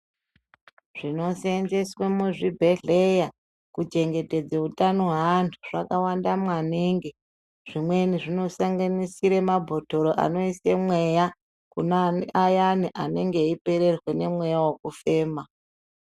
Zvinosenzeswa muzvibhehleya kuchengetedzwa utano hweantu zvakawanda maningi zvimweni zvinosanganisira mabhotoro anoise mweya kune ayani anenge eipererwa ngemweya wekufema.